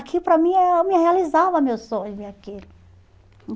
Aqui, para mim, eu me realizava meu sonho ver aquilo.